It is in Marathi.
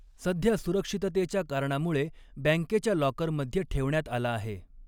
सध्या सुरक्षिततेच्या कारणामुळे बँकेच्या लाॕकरमध्ये ठेवण्यात आला आहे.